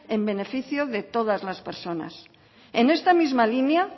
en beneficio de todas las personas en esta misma línea